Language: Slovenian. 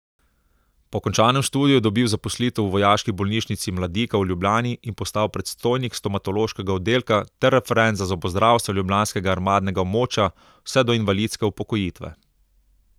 Po končanem študiju je dobil zaposlitev v vojaški bolnišnici Mladika v Ljubljani in postal predstojnik stomatološkega oddelka ter referent za zobozdravstvo ljubljanskega armadnega območja vse do invalidske upokojitve.